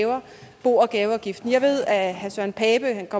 hæver bo og gaveafgiften jeg ved at herre søren pape